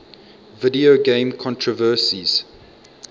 video game controversies